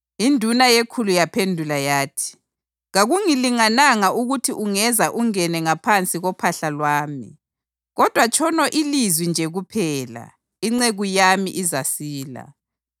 Induna yekhulu yaphendula yathi, “Kakungilingananga ukuthi ungeza ungene ngaphansi kophahla lwami. Kodwa tshono ilizwi nje kuphela, inceku yami izasila.